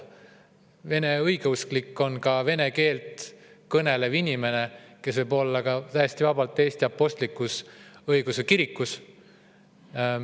Vene õigeusklik on ka vene keelt kõnelev inimene, kes võib täiesti vabalt kuuluda Eesti apostlik-õigeusu kirikusse.